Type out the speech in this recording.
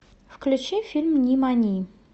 включи фильм нимани